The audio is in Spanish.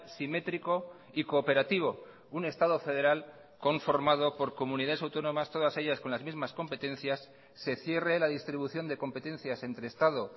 simétrico y cooperativo un estado federal conformado por comunidades autónomas todas ellas con las mismas competencias se cierre la distribución de competencias entre estado